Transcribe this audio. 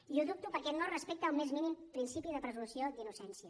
i ho dubto perquè no respecta el més mínim principi de presumpció d’innocència